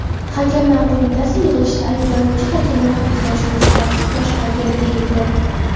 Hakamlar Qo‘mitasi yig‘ilishida ayblanuvchi hakamlar uchrashuvni sifatsiz boshqargan, deyildi.